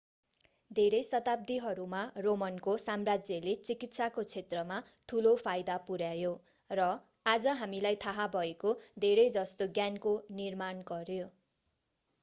धेरै शताब्दीहरूमा रोमनको साम्राज्यले चिकित्साको क्षेत्रमा ठूलो फाईदा पुर्‍यायो र आज हामीलाई थाहा भएको धेरैजस्तो ज्ञानको निर्माण गर्यो।